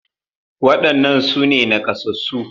Waɗannan su ne naƙasassu